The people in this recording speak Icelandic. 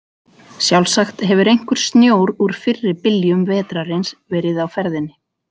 Sjálfsagt hefur einhver snjór úr fyrri byljum vetrarins verið á ferðinni.